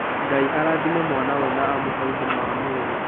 Ngai arathime mwana ũyũ na amũhe ũgima wa mwĩrĩ.